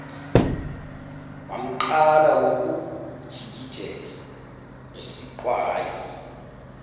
wamqala ngokumjikijela ngesiqwayi